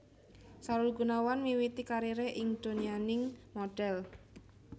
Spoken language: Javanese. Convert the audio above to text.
Sahrul Gunawan miwiti kariré ing donyaning modhel